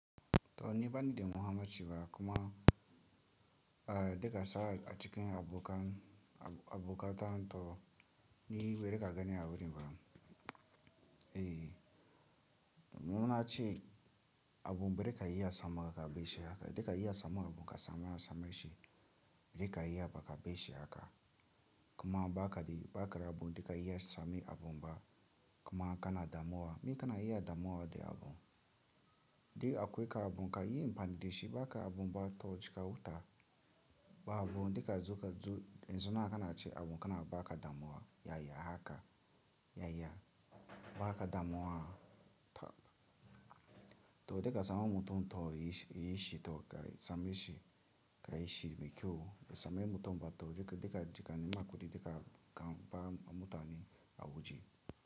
To ni bani da muhinmaci ba kuma a deka sa a cikin abokan abokatan to ni yi bere ka gani a wurin ba. Eeh, muna ce abun bere ka iya sama ka beshi haka deka iya sama abun ka same samaishi deka iya baka beshi haka kuma ba ka di ba ka rabu deka iya sami abun ba kuma kana damuwa me kana iya damuwa de abun. Di akuwe ka abun ka yi ampani deshi ba ka abun ba to ci kawuta ba abun deka zu ka zu, in zona kana ce abun kana ba ka damuwa yaya haka yaya ba ka damuwa. To deka sama mutum to yi yiishi to ka same shi ka yiishi mekyau, be sama mutum ba to deka deka jeka ni ma kudi deka kan ba ma mutane a waje.